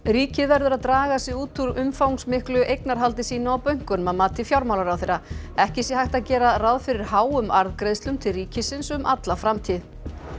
ríkið verður að draga sig út úr umfangsmiklu eignarhaldi sínu á bönkunum að mati fjármálaráðherra ekki sé hægt að gera ráð fyrir háum arðgreiðslum til ríkisins um alla framtíð